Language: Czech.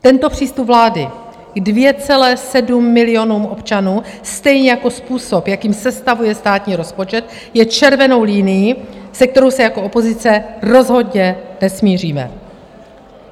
Tento přístup vlády k 2,7 milionům občanů, stejně jako způsob, jakým sestavuje státní rozpočet, je červenou linií, se kterou se jako opozice rozhodně nesmíříme.